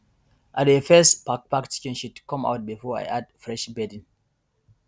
i dey first pack pack chicken shit come out before i add fresh bedding